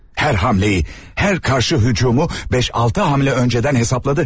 Hər hamleyi, hər karşı hücumu beş-altı hamle öncədən hesapladı.